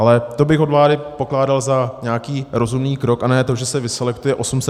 Ale to bych od vlády pokládal za nějaký rozumný krok, a ne to, že se vyselektuje 812 předpisů.